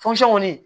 kɔni